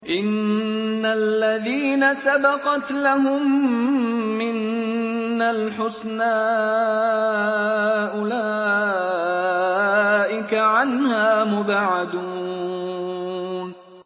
إِنَّ الَّذِينَ سَبَقَتْ لَهُم مِّنَّا الْحُسْنَىٰ أُولَٰئِكَ عَنْهَا مُبْعَدُونَ